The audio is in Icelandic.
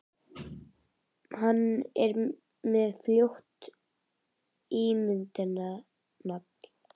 Hann er með frjótt ímyndunarafl.